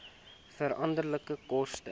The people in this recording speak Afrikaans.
veranderlike koste